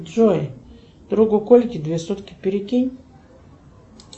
джой другу кольке две сотки перекинь